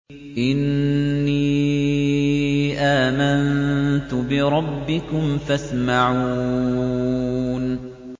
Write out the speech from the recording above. إِنِّي آمَنتُ بِرَبِّكُمْ فَاسْمَعُونِ